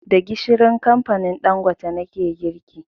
Da gishirin kamfanin Ɗangote nake girki